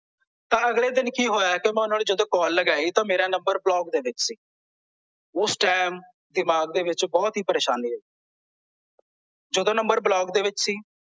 ਤਾਂ ਅਗਲੇ ਦਿਨ ਕੀ ਹੋਇਆ ਮੈਂ ਜਦੋਂ ਓਹਨਾਂ ਨੂੰ ਕਾਲ ਲਗਾਈ ਤਾਂ ਮੇਰਾ ਨੰਬਰ block ਦੇ ਵਿੱਚ ਸੀ ਓਸ ਟਾਈਮ ਦਿਮਾਗ ਦੇ ਵਿੱਚ ਬਹੁਤ ਹੀ ਪਰੇਸ਼ਾਨੀ ਹੋਈ ਜਦੋਂ ਨੰਬਰ block ਦੇ ਵਿੱਚ ਸੀ